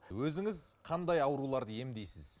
өзіңіз қандай ауруларды емдейсіз